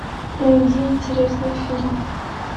найди интересный фильм